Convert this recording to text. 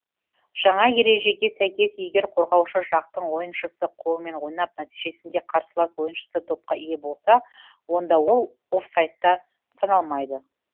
жаңа ережеге сәйкес егер қорғаушы жақтың ойыншысы қолымен ойнап нәтижесінде қарсылас ойыншысы допқа ие болса онда ол офсайдта саналмайды